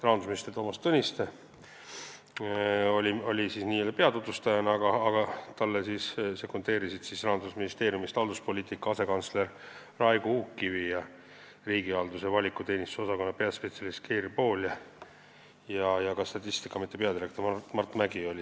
Rahandusminister Toomas Tõniste oli n-ö peatutvustaja, talle sekundeerisid selle punkti arutelul komisjonis Rahandusministeeriumi halduspoliitika asekantsler Raigo Uukkivi ning riigihalduse ja avaliku teenistuse osakonna peaspetsialist Keir Pool ja ka Statistikaameti peadirektor Mart Mägi.